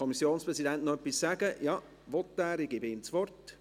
Kommissionspräsident der FiKo.